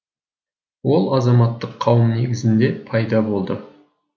ол азаматтық қауым негізінде пайда болды